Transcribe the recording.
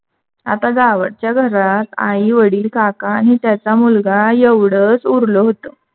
आता जावच्या घरात आई वडील काका न त्याचा मुलगा एवढच उरल होत.